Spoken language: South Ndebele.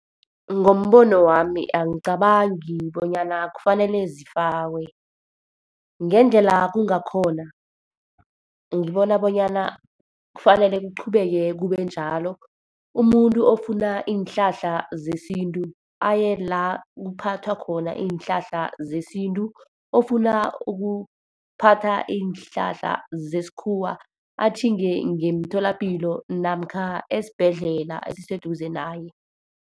Ngombono wami angicabangi bonyana kufanele zifakwe. Ngendlela kungakhona, ngibona bonyana kufanele kuqhubeke kube njalo. Umuntu ofuna iinhlahla zesintu, aye la kuphathwa khona iinhlahla zesintu, ofuna ukuphatha iinhlahla zesikhuwa atjhinge ngemtholapilo namkha esibhedlela esiseduze naye.